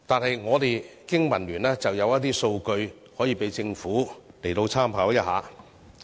香港經濟民生聯盟有一些數據可以讓政府參考。